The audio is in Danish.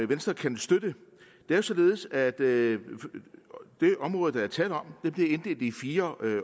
venstre kan støtte det er således at det område der er tale om bliver inddelt i fire